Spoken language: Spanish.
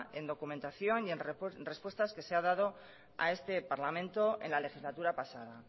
en documentación y en respuestas que se ha dado a este parlamento en la legislatura pasada